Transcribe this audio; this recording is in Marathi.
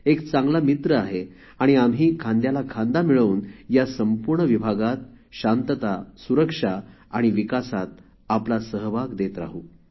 एक चांगला मित्र आहे आणि आम्ही खांद्याला खांदा लावून या संपूर्ण विभागात शांतता सुरक्षा आणि विकासात आपला सहभाग देत राहू